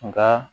Nka